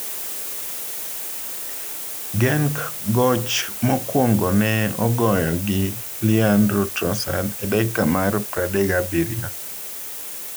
Genk goch mokwongo ne ogoyo gi Leandro Trossard e dakika mar 37.